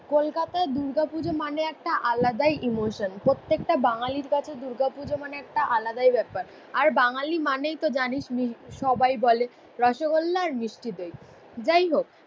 কলকাতায় দুর্গাপুজো মানে একটা আলাদাই ইমোশন। প্রত্যেকটা বাঙালির কাছে দুর্গাপুজো মানে একটা আলাদাই ব্যাপার, আর বাঙালি মানেই তো জানিসই সবাই বলে রসগোল্লা আর মিষ্টি দই। যাই হোক